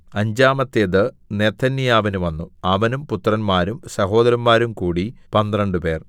അഞ്ചാമത്തേത് നെഥന്യാവിന് വന്നു അവനും പുത്രന്മാരും സഹോദരന്മാരും കൂടി പന്ത്രണ്ടുപേർ